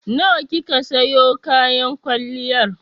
Nawa kika siyo kayan kwalliyar?